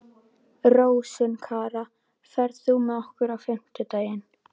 Rósinkara, ferð þú með okkur á fimmtudaginn?